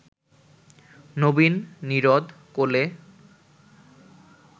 নবীন-নীরদ-কোলে